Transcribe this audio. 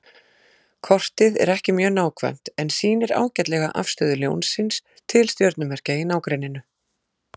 Kortið er ekki mjög nákvæmt en sýnir ágætlega afstöðu Ljónsins til stjörnumerkja í nágrenninu.